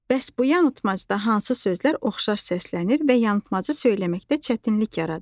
Bəs bu yanılmazda hansı sözlər oxşar səslənir və yanıpmaçı söyləməkdə çətinlik yaradır?